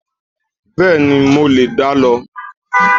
Bẹ́ẹ̀ni, mo lè dá lọ